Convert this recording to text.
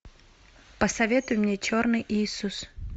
посоветуй мне черный иисус